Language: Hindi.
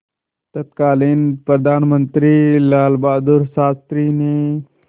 तत्कालीन प्रधानमंत्री लालबहादुर शास्त्री ने